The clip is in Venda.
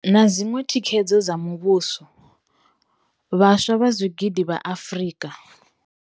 Na dziṅwe thikedzo dza muvhuso, vhaswa vha zwigidi vha Afrika.